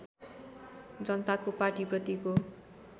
जनताको पाटी प्रतिको